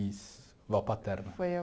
Isso, avó paterna. Foi...